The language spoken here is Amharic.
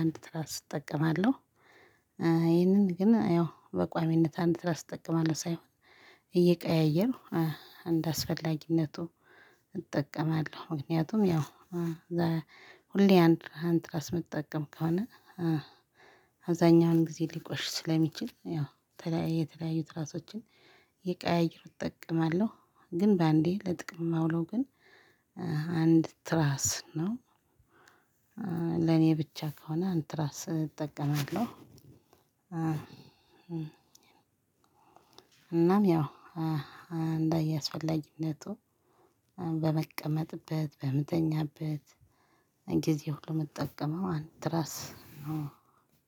አንድ ትራስ እጠቀማለሁ። ይህንን ግን ያው በቋሚነት አንድ ትራስ እጠቀማለሁ ሳይሆን እየቀያየርኩ እንደአስፈላጊነቱ እጠቀማለሁ። ምክንያቱም ያው ሁሌ አንድ አንድ ትራስ ምጠቀም ከሆነ አብዛኛውን ጊዜ ሊቆሽ ስለሚችል ያው የተለያየ የተለያየ ትራሶችን እየቀያየሩክ እጠቀማለሁ። ግን በአንዴ ለጥቅም ማውለው ግን አንድ ትራስ ነው። ለኔ ብቻ ከሆነ አንድ ትራስ እጠቀማለሁ። እንደያስፈላጊነቱ በምቀመጥበት በምተኛበት ጊዜ ሁሉ ምጠቀመው አንድ ትራስ ነው።